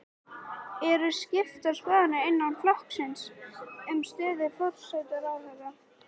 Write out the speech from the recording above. Birta: Eru skiptar skoðanir innan flokksins um stöðu forsætisráðherra?